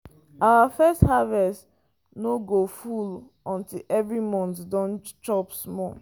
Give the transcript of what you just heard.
our first harvest no go full until every mouth don chop small.